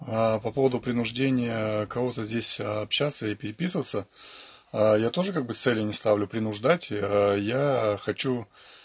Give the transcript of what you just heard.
а по поводу принуждения кого-то здесь общаться и переписываться а я тоже как бы цели не ставлю принуждать а я хочу